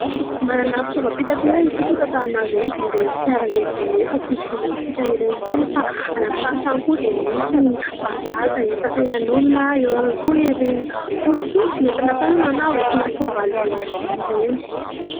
Manana fitaovam-pitaterana isika eto Antananarivo : ireny fiara lehibe efa tsy zoviana amintsika ireny intsony. Fa any amin'ny faritra any koa dia misy ny "bajaj" hitanterana olona, eo ihany koa ireny posiposy entina tànana na entina soavaly vy ireny.